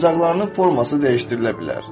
Oyuncaqlarının forması dəyişdirilə bilər.